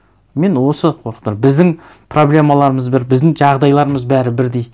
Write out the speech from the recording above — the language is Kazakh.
мені осы біздің проблемаларымыз бір біздің жағдайларымыз бәрі бірдей